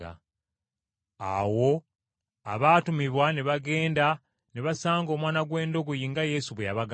Awo abaatumibwa ne bagenda ne basanga omwana gw’endogoyi nga Yesu bwe yabagamba.